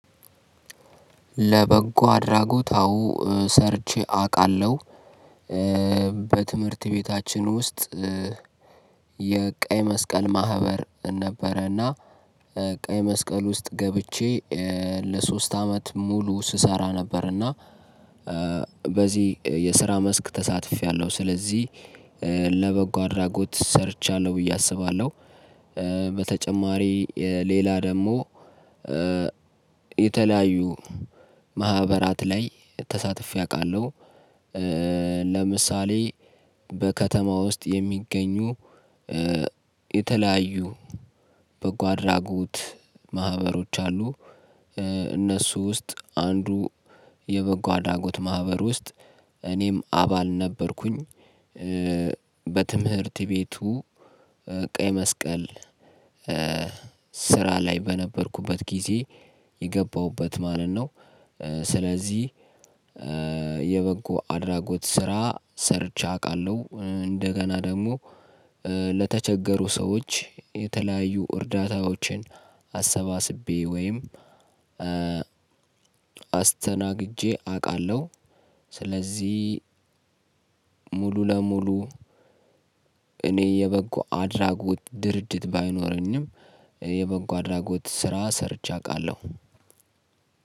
ለበጎ አድራጎት አወ ሰርቼ አውቃለሁ። በትምህርት ቤታችን ውስጥ የቀይ መስቀል ማህበር ነበረና ቀይመስቀል ውስጥ ገብቼ ለሶስት አመት ሙሉ ስሰራ ነበርና። በዚህ የስራ መስክ ተሳትፌያለሁ ስለዚህ ለበጎ አድራጎት ሰርቻለሁ ብዬ አስባለሁ። በተጨማሪ ሌላ ደግሞ የተለያዩ ማህበራት ላይ ተሳትፌ አውቃለሁ። ለምሳሌ በከተማ ውስጥ የሚገኙ የተለያዩ በጎ አድራጎት ማህበሮች አሉ። እነሱ ውስጥ አንዱ የበጎ አድራጎት ማህበር ውስጥ እኔም አባል ነበርኩኝ። በትምህርት ቤቱ ቀይ መስቀል ስራ ላይ በነበርኩበት ጊዜ የገባሁበት ማለት ነው። ስለዚህ የበጎ አድራጎት ስራ ሰርቼ አውቃለሁ። እንደገና ደግሞ ለተቸገሩ ሰዎች የተለያዩ እርዳታዎችን አሰባስቤ ወይም አስተናግጄ አውቃለሁ። ስለዚህ ሙሉ ለሙሉ እኔ የበጎ አድራጎት ድርድር ባይኖረኝም የበጎ አድራጎት ስራ ሰርቼ አውቃለሁ።